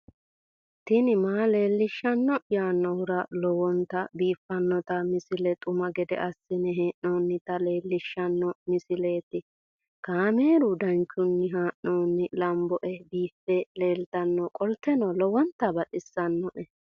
tini maa leelishshanno yaannohura lowonta biiffanota misile xuma gede assine haa'noonnita leellishshanno misileeti kaameru danchunni haa'noonni lamboe biiffe leeeltannoqolten lowonta baxissannoe